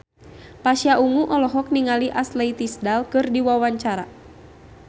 Pasha Ungu olohok ningali Ashley Tisdale keur diwawancara